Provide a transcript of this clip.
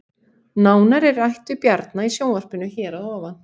Nánar er rætt við Bjarna í sjónvarpinu hér að ofan